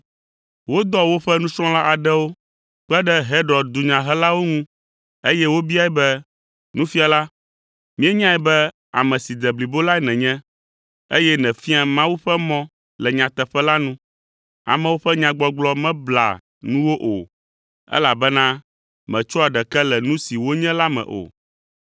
Wodɔ woƒe nusrɔ̃la aɖewo kpe ɖe Herod dunyahelawo ŋu, eye wobiae be, “Nufiala, míenyae be ame si de blibo lae nènye, eye nèfiaa Mawu ƒe mɔ le nyateƒe la nu. Amewo ƒe nyagbɔgblɔ meblea nuwò o, elabena mètsɔa ɖeke le nu si wonye la me o.